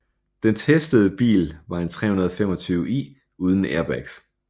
Den testede bil var en 325i uden airbags